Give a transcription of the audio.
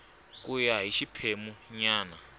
ku ya hi xiphemu nyana